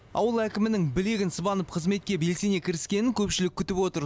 ауыл әкімінің білегін сыбанып қызметке белсене кіріскенін көпшілік күтіп отыр